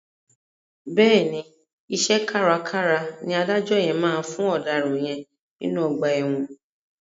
Bẹ́ẹ̀ni, iṣẹ́ kárakára ni adájọ́ yẹn máa fún ọ̀daràn yẹn nínú ọgbà ẹ̀wọ̀n.